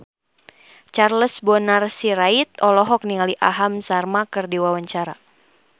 Charles Bonar Sirait olohok ningali Aham Sharma keur diwawancara